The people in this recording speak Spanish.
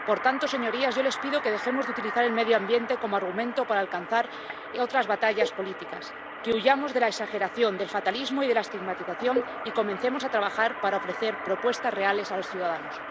Por tanto, señorías, yo les pido que dejemos de utilizar el medio ambiente como argumento para librar otras batallas políticas, que huyamos de la exageración, del fatalismo y de la estigmatización y comencemos a trabajar para ofrecer propuestas reales a los ciudadanos.